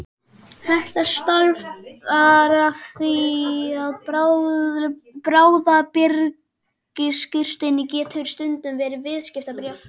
Þetta stafar af því að bráðabirgðaskírteini getur stundum verið viðskiptabréf.